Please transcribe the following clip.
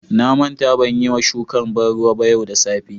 Na manta ban Yi ma shukan banruwa yau da safe.